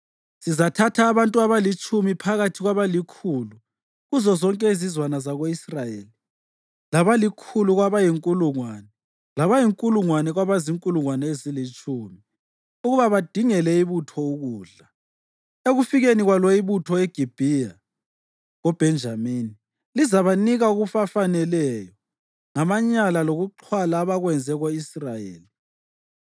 Sizathatha abantu abalitshumi phakathi kwabalikhulu kuzozonke izizwana zako-Israyeli, labalikhulu kwabayinkulungwane, labayinkulungwane kwaba zinkulungwane ezilutshumi ukuba badingele ibutho ukudla. Ekufikeni kwalo ibutho eGibhiya koBhenjamini, lizabanika okubafaneleyo ngamanyala lokuxhwala abakwenze ko-Israyeli.”